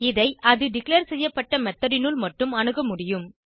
இதை அது டிக்ளேர் செய்யப்பட்ட மெத்தோட் னுள் மட்டும் அணுக முடியும்